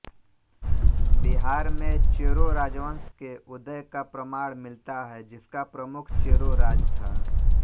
बिहार में चेरो राजवंश के उदय का प्रमाण मिलता है जिसका प्रमुख चेरो राज था